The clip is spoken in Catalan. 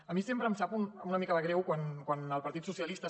a mi sempre em sap una mica de greu quan el partit dels socialistes